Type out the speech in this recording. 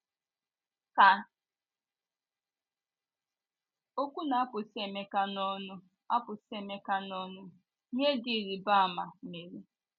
Ka okwu na - apụsị Emeka n’ọnụ apụsị Emeka n’ọnụ, ihe dị ịrịba ama mere.